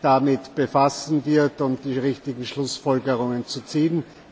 damit befassen wird, um die richtigen Schlussfolgerungen zu ziehen.